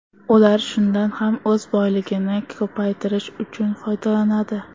Ular shundan ham o‘z boyligini ko‘paytirish uchun foydalanadi.